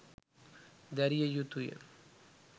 දැරිය යුතු ය.